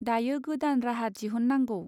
दायो गोदान राहा दिहुन नांगौ.